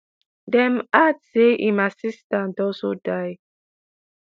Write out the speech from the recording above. dem add say im assistant also die.